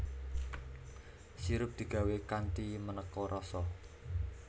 Sirup digawé kanthi manéka rasa